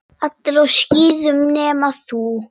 Allir á skíðum nema þú.